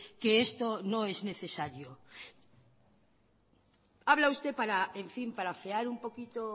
que esto no es necesario habla usted para afear un poquito